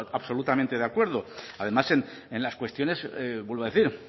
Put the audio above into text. absolutamente de acuerdo además en las cuestiones vuelvo a decir